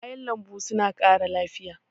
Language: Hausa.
Kayan lambu suna ƙara lafiya.